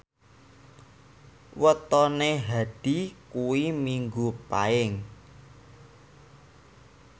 wetone Hadi kuwi Minggu Paing